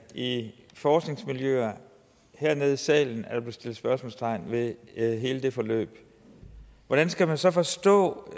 i forskningsmiljøerne hernede i salen sat spørgsmålstegn ved hele det forløb hvordan skal man så forstå